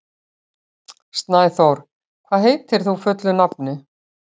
Snæþór, hvað heitir þú fullu nafni?